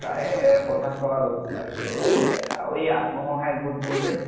তাৰে পঞ্চাছ টকা লʼলো । তাৰ পাছতে আৰু আত্মসহায় গোট বোৰ যে